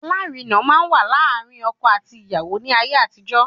Alárinà máa n wa láàrin ọkọ àti aya ní ayé àtijó